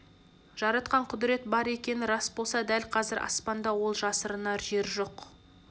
жаратқан құдірет бар екені рас болса дәл қазір аспанда ол жасырынар жер жоқ